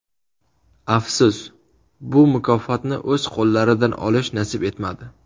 Afsus, bu mukofotni o‘z qo‘llaridan olish nasib etmadi.